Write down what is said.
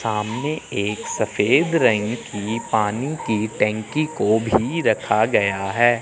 सामने एक सफेद रंग की पानी की टंकी को भी रखा गया है।